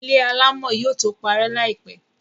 ilé alámọ̀ yóò tó parẹ́ láìpẹ̀.